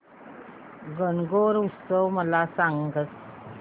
गणगौर उत्सव मला सांग